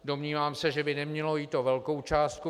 Domnívám se, že by nemělo jít o velkou částku.